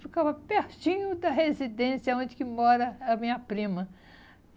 Ficava pertinho da residência onde que mora a minha prima.